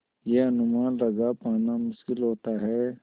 यह अनुमान लगा पाना मुश्किल होता है